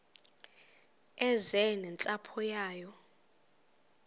eze nentsapho yayo